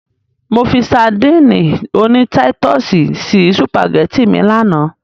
Mo fi sadíìnì oní táítọ̀sì sí sùpàgẹ́tì mi lánàá.